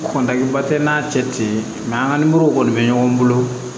Kɔntanniba tɛ n'a cɛ ten an ka kɔni bɛ ɲɔgɔn bolo